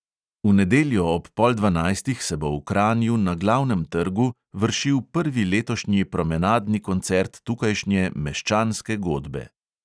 V nedeljo ob pol dvanajstih se bo v kranju na glavnem trgu vršil prvi letošnji promenadni koncert tukajšnje meščanske godbe.